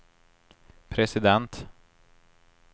president